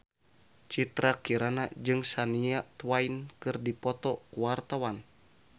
Citra Kirana jeung Shania Twain keur dipoto ku wartawan